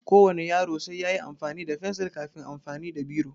Ko wane yaro sai yayi amfani da fensil kafin amfani da biro